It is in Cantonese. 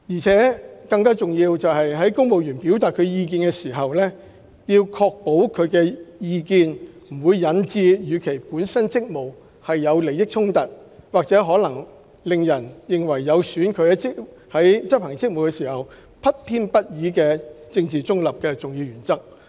更重要的是，公務員表達意見時，應確保有關意見不會引致與其本身職務有利益衝突，或可能令人認為有損其在執行職務時不偏不倚和政治中立的重要原則。